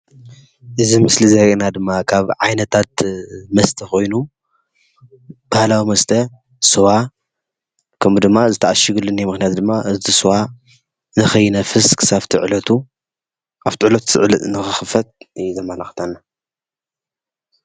እዚ ምስሊ ዘርእየና ድማ ካብ ዓይነታት መስተ ኮይኑ፣ ባህላዊ መስተ ስዋ ከምኡ ድማ እዚ ተዓሽግሉ ምክንያት ድማ እቲ ስዋ ንከይነፍስ ክሳብቲ ዕለቱ ኣብቲ ዕለቱ ንክክፈት እዩ ዘመላክተና፡፡